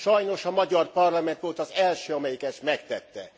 Sajnos a magyar parlament volt az első, amelyik ezt megtette.